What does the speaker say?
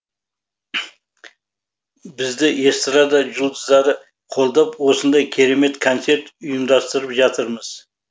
бізді эстрада жұлдыздары қолдап осындай керемет концерт ұйымдастырып жатырмыз